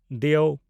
ᱫᱤᱭᱳ